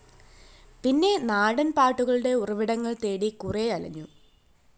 പിന്നെ നാടന്‍ പാട്ടുകളുടെ ഉറവിടങ്ങള്‍ തേടി കുറേ അലഞ്ഞു